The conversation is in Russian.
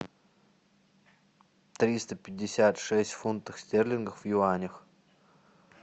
триста пятьдесят шесть фунтов стерлингов в юанях